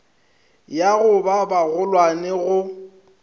ya go ba bagolwane go